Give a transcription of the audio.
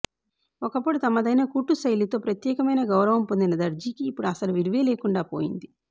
ఒకప్పుడు తమదైన కుట్టు శైలితో ప్రత్యేకమైన గౌరవం పొందిన దర్జీకి ఇప్పుడు అసలు విలువే లేకుండా పోయింది